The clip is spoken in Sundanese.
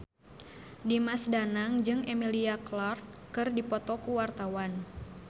Dimas Danang jeung Emilia Clarke keur dipoto ku wartawan